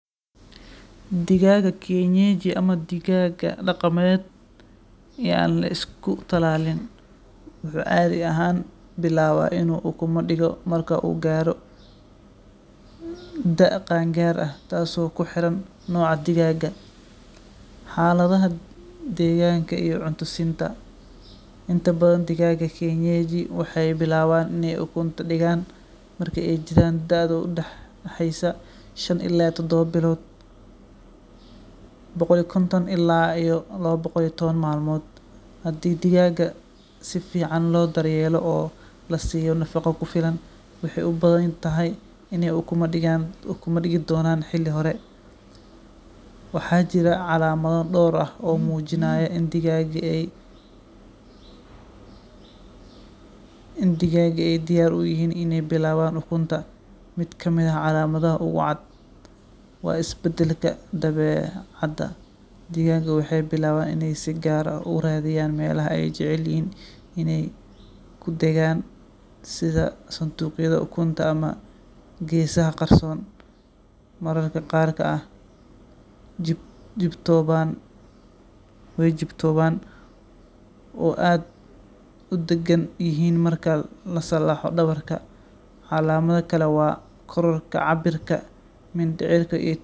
Digaga kienyeji ama digaga daqameed yan laisku talaalin wuxu cadi ahan bilaaba inu ukuma digo marka u karo da'a qaangar ah tas o kuxeran noca digaga xaladaha deganka iyo cuuto siinta intabadan digaga kienyejiga waxay bilaban inay ukuunta digan marka ay jiran daada u daxeysa shaan ila tidoba bilood, boqol iyo kontan ila labo iyo taban malmood hadi diagag sifican lo daryeelo o lasiyo nafaqa kufilan waxay ubahantahay inay ukuma digan ukuma digi donan xili hore waxa jira calamda dowr ah o mujinayo in digaga ay diyar uyahin in ay bilaban ukuunta mid ka mid ah calamada ugu caad waisbadalka dabecada digaga waxay bilaban in ay siagar ah u radiyan melaha ay jecelyahin inay kudagan sida santuqyada ukunta ama gesaha qarson. mararka qarka ah way jigtooban o ad udagan yahin marka lasalaxo dabarka calamada kala wa kor kacabirka madecirka.